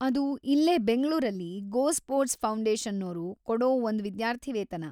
ಅದು ಇಲ್ಲೇ ಬೆಂಗ್ಳೂರಲ್ಲಿ ಗೋಸ್ಪೋರ್ಟ್ಸ್ ಫೌಂಡೇಷನ್ನೋರು ಕೊಡೋ ಒಂದ್ ವಿದ್ಯಾರ್ಥಿವೇತನ.